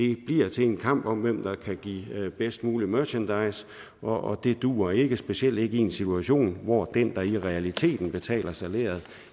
det bliver til en kamp om hvem der kan give bedst mulig merchandise og det duer ikke specielt ikke i en situation hvor den der i realiteten betaler salæret